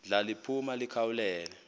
ndla liphuma likhawulele